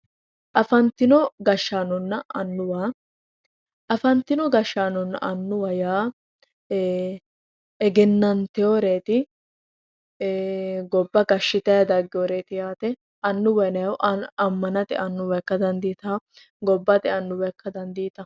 Afantino gashshaanonna annuwa, afantino gashshaanonna annuwaho yaa egenanteworeti ee gobba gashshittanni dagginoreti yaate, annuwaho yinnanni woyte amanate annuwa ikka dandittawo gobbate annuwa ikka dandiittano